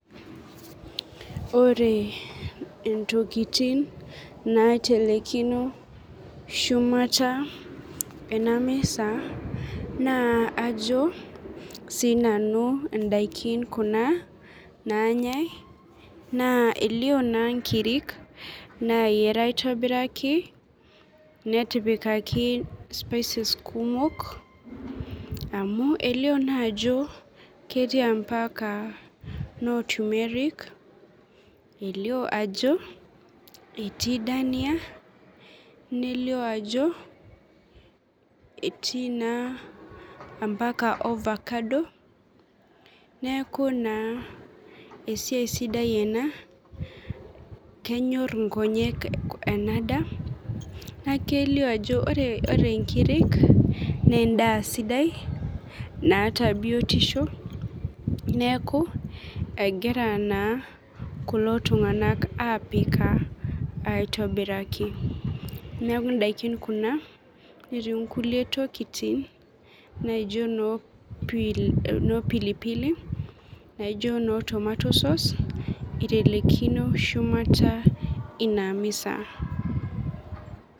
Ore entokitini naitelekino shumata enamisa na ajo na sinanu ndakini kuna nanyae na elio na nkirik nayiara aitobiraki netipikaki [cs[spices kumok amu elio na ajo ketui ambaka no tumeric etii dania, nelio ajo etii na ambaka overcado neaku na esiaia sidai ena kenyor nkonyek enadaa na kelio ajo ore nkirik na endaa sidai naata biotisho neaku egira naa kulo tunganak apika aitobiraki neaku ndakin kuna netii nkulie tolitin naijo no pilipili, tomato sauce amu itelekino shumata inamisa.